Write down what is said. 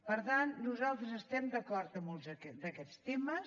per tant nosaltres estem d’acord amb molts d’aquests temes